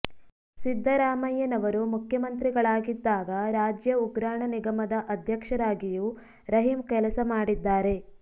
ಸಿದ್ದರಾಮಯ್ಯನವರು ಮುಖ್ಯಮಂತ್ರಿಗಳಾಗಿದ್ದಾಗ ರಾಜ್ಯ ಉಗ್ರಾಣ ನಿಗಮದ ಅಧ್ಯಕ್ಷರಾಗಿಯೂ ರಹಿಂ ಕೆಲಸ ಮಾಡಿದ್ದಾರೆ